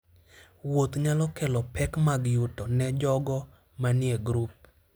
Wuoth nyalo kelo pek mag yuto ne jogo manie grup.